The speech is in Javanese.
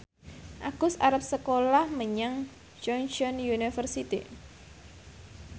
Agus arep sekolah menyang Chungceong University